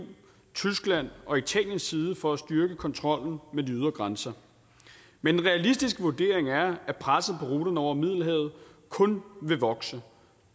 tysklands og italiens side for at styrke kontrollen med de ydre grænser men en realistisk vurdering er at presset på ruterne over middelhavet kun vil vokse